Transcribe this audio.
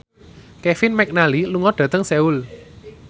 Kevin McNally lunga dhateng Seoul